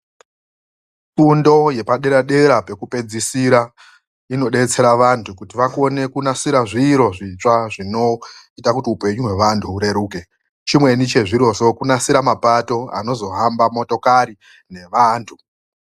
Fundo yepadera-dera pekupedzisira inobetsera vantu kuti vakone kunasira zviro zvitsva zvinoita kuti hupenyu hwevantu hureruke. Chimweni chezvirozvo kunasira mapato anozohamba motokari nevantu.